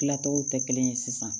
Tilacogo tɛ kelen ye sisan